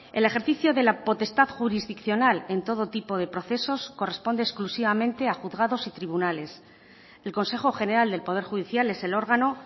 el ejercicio de la potestad jurisdiccional en todo tipo de procesos corresponde exclusivamente a juzgados y tribunales el consejo general del poder judicial es el órgano